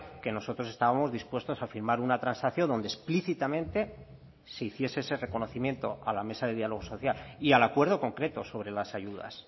que nosotros estábamos dispuestos a firmar una transacción donde explícitamente se hiciese ese reconocimiento a la mesa de diálogo social y al acuerdo concreto sobre las ayudas